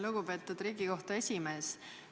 Lugupeetud Riigikohtu esimees!